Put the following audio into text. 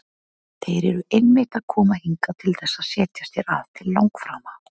Þeir eru einmitt að koma hingað til þess að setjast hér að til langframa!